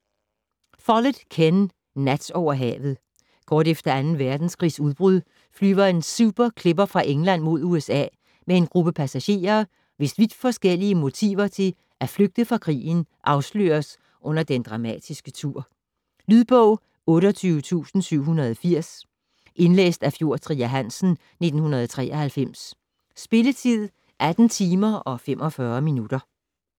Follett, Ken: Nat over havet Kort efter 2. verdenskrigs udbrud flyver en Super Clipper fra England mod USA med en gruppe passagerer, hvis vidt forskellige motiver til at flygte fra krigen afsløres under den dramatiske tur. Lydbog 28780 Indlæst af Fjord Trier Hansen, 1993. Spilletid: 18 timer, 45 minutter.